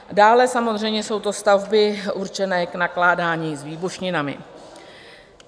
Dále samozřejmě jsou to stavby určené k nakládání s výbušninami.